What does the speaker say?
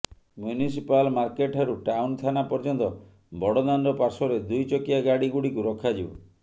municipal ମାର୍କେଟଠାରୁ town ଥାନା ପର୍ୟ୍ୟନ୍ତ ବଡ଼ଦାଣ୍ଡ ପାର୍ଶ୍ୱରେ ଦୁଇଚକିଆ ଗାଡି ଗୁଡିକୁ ରଖାଯିବ